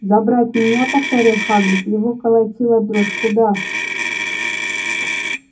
забрать меня повторил хагрид его колотила дрожь куда